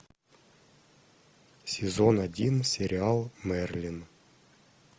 сезон один сериал мерлин